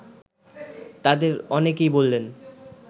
তাদের অনেকেই বললেন